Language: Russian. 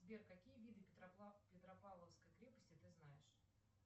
сбер какие виды петропавловской крепости ты знаешь